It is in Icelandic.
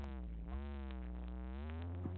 Þessi syndari er glataði sonurinn úr guðspjöllunum.